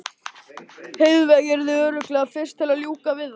Heiðveig yrði örugglega fyrst til að ljúka við það.